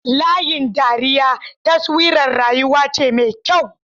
Layin dariya taswirar rayuwa ce mai kyau.